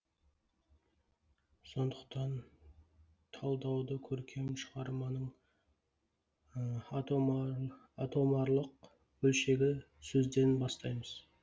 сондықтан талдауды көркем шығарманың атомарлық бөлшегі сөзден бастаймыз